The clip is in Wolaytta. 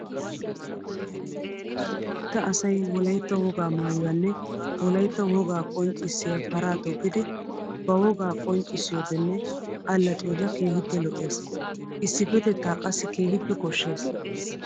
Wolaytta asay wolaytta wogaa maayuwanne wolaytta wogaa qonccissiya paraa toggiddi ba wogaa qonccissiyoodenne alaxxiyoode keehippe lo'ees. Issipetetta qassi keehippe koshees.